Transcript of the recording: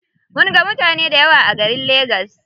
Mun ga mutane dayawa a garin lagas.